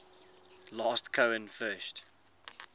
last cohen first